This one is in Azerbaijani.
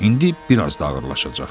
İndi biraz da ağırlaşacaq.